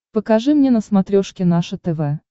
покажи мне на смотрешке наше тв